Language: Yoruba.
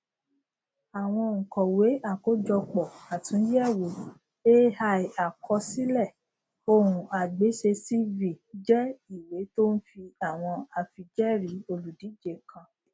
àwọn ònkọwé àkójọpọ àtúnyẹwò aiàkọsílẹ ohunagbéṣecv jẹ ìwé tó n fi àwọn àfijẹẹrí olúdíje kan